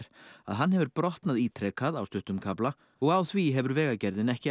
að hann hefur brotnað ítrekað á stuttum kafla og á því hefur Vegagerðin ekki